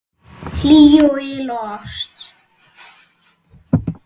Hlýju og yl og ást.